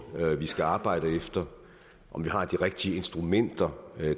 vi skal arbejde efter om vi har de rigtige instrumenter